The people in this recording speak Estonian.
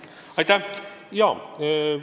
Aitäh!